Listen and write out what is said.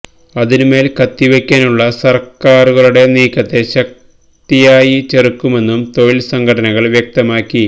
അതിനു മേല് കത്തിവെക്കാനുള്ള സര്ക്കാറുകളുടെ നീക്കത്തെ ശക്തിയായി ചെറുക്കുമെന്ന് തൊഴില് സംഘടനകള് വ്യക്തമാക്കി